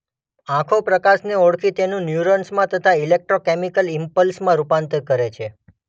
આંખો પ્રકાશને ઓળખી તેનું ન્યુરોન્સમાં થતા ઈલેક્ટ્રોકેમિકલ ઈમ્પલ્સમાં રૂપાંતર કરે છે.